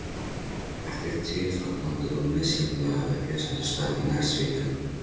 Eftir tilfallandi og misjafnlega upplyftandi störf í nærsveitum